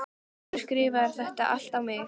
Af hverju skrifarðu það allt á mig?